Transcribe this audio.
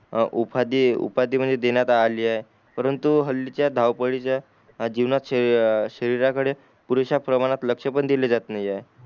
आ उफादी उपादि म्हणजे देण्यात आली आहे परंतु हल्ली चा धावपळीच्या जीवनात श शरीराकडे पुरेशा प्रमाणात लक्ष पण दिला जाते नाहीए